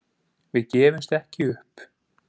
Við gefumst ekki upp